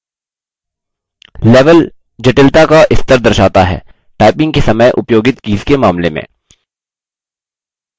level जटिलता का स्तर दर्शाता है typing के समय उपयोगित कीज के मामले में